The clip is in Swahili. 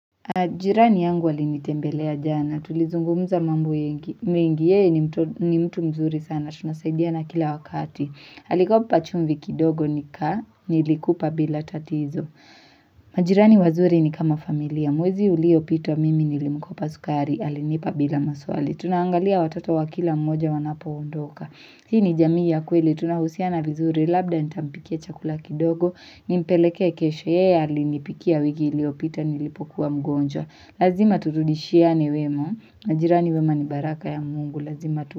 Jirani yangu alinitembelea jana, tulizungumuza mambo yengi mengi, yeye ni mtu mzuri sana, tunasaidia na kila wakati. Alikopa chumvi kidogo nika, nilikupa bila tatizo. Majirani wazuri ni kama familia, mwezi uliopitwa mimi nilimkopa sukari, alinipa bila maswali. Tunaangalia watoto wa kila mmoja wanapoondoka. Hii ni jamii ya kweli, tunahusiana vizuri, labda nitampikia chakula kidogo, nimpelekee kesho, yeye alinipikia wiki iliopita nilipokuwa mgonjwa. Lazima turudishiane wema, majirani wema ni baraka ya mungu, lazima tu.